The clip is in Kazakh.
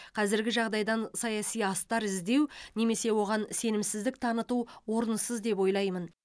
қазіргі жағдайдан саяси астар іздеу немесе оған сенімсіздік таныту орынсыз деп ойлаймын